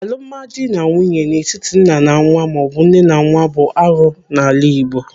Alụmdi na nwunye n'etiti nna na nwa maọbụ nne na nwa bụ arụ n'ala Igbo.